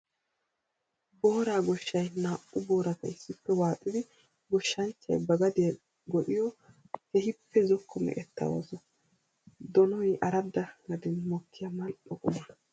Boora goshay naa'u booratta issippe waaxxiddi goshanchchay ba gadiya go'iyo keehippe zokko meqetta ooso. Donoy aradda gaden mokkiya mali'o qumma.